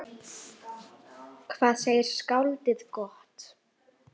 Hvað segir skáldið gott?